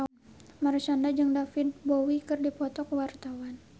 Marshanda jeung David Bowie keur dipoto ku wartawan